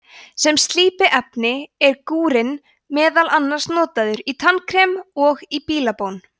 sem slípiefni er gúrinn meðal annars notaður í tannkrem og í bílabón